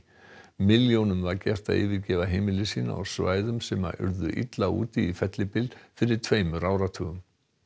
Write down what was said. milljónum var gert að yfirgefa heimili sín á svæðum sem urðu illa úti í fellibyl fyrir tveimur áratugum